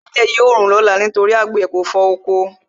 Ẹlẹ́dẹ̀ yóò rùn lọ́la nítorí àgbẹ̀ kò fọ oko.